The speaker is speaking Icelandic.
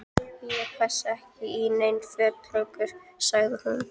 Ég passa ekki í nein föt lengur- sagði hún.